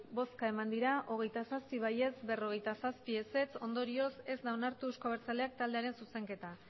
bai hogeita zazpi ez berrogeita zazpi ondorioz ez da onartu euzko abertzaleak taldearen zuzenketa